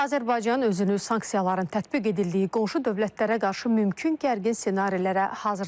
Azərbaycan özünü sanksiyaların tətbiq edildiyi qonşu dövlətlərə qarşı mümkün gərgin ssenarilərə hazırlayıb.